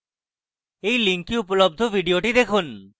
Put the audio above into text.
এই link উপলব্ধ video দেখুন